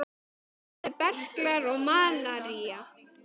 Alnæmi, berklar og malaría